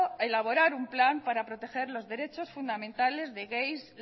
elaborar un plan para proteger los derechos fundamentales de gays